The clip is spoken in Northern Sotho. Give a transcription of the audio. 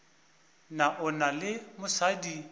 na o na le mosadi